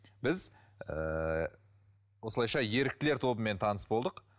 біз ыыы осылайша еріктілер тобымен таныс болдық